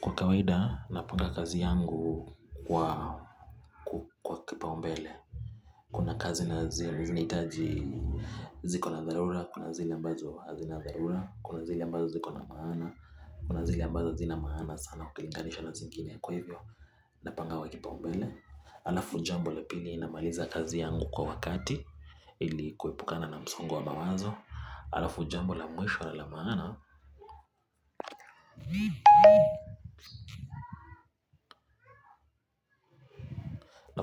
Kwa kawaida, napanga kazi yangu kwa kupa kipaumbele. Kuna kazi nazihitaji, ziko na dharura, kuna zile ambazo hazina dharura, kuna zile ziko na maana, kuna zile ambazo hazina maana sana, kulinganishwa na zingine kwa hivyo. Napanga wa kipaumbele. Alafu jambo la pili inamaliza kazi yangu kwa wakati. Ili kuepukana na msongo wa mawazo. Alafu jambo la mwisho la maana.